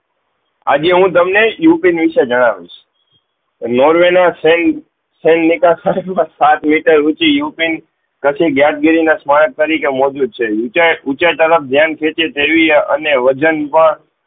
આજે હું તમને યુ પીન વિષય જનાવીસ નોર્વે ના સેન્ટ નીકાર્સ્ર માં સાત મીટર ઉચી પછી ગેટ ગીરી ના સ્માર્ટ તરીકે છે ઉચે તરફ ધ્યાન ખીચે ફેરવી અને વજન પણ